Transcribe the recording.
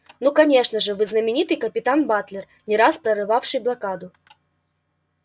ну конечно же вы знаменитый капитан батлер не раз прорывавший блокаду